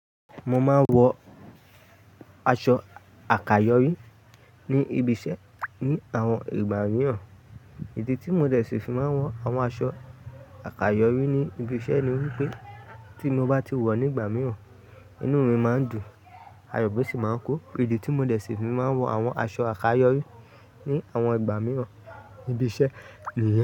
Mo máa ń wọ aṣọ àkàyọ́rí ní ibi iṣẹ́ ní àwọn ìgbà mìíràn. Idí tí móde se fi máa ń wọ àwọn aṣọ àkàyọ́rí ní ibi iṣẹ́ ni wípé tí mo bá ti wọ̀ ní ìgbà mìíràn, inú mi máa ń dùn, ayọ̀ misi máa ń kun. Idí tí móde sì fi máa ń wọ àwọn aṣọ àkàyọ́rí ní àwọn ìgbà mìíràn ní ibi iṣẹ́ ni.